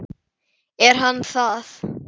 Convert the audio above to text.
Er hann það?